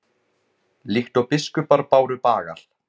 líkt og biskupar báru bagal